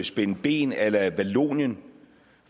spænde ben a la vallonien